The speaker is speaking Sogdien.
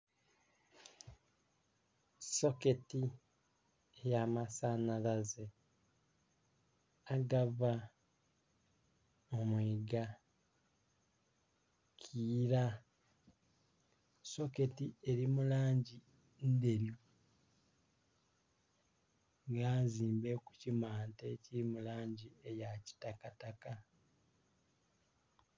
Soketi ey'amasanhalaze agava mu mwiiga kiira, soketi eli mu langi ndheru nga nzimbe ku kimante ekili mu langi eya kitakataka